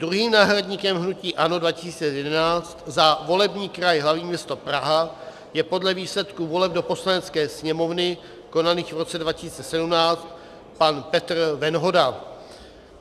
Druhým náhradníkem hnutí ANO 2011 za volební kraj hl. město Praha je podle výsledků voleb do Poslanecké sněmovny konaných v roce 2017 pan Petr Venhoda.